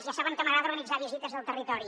ja saben que m’agrada organitzar visites al territori